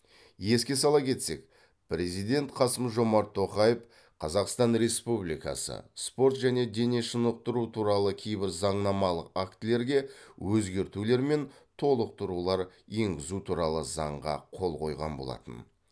еске сала кетсек президент қасым жомарт тоқаев қазақстан республикасы спорт және дене шынықтыру туралы кейбір заңнамалық актілерге өзгертулер мен толықтырулар енгізу туралы заңға қол қойған болатын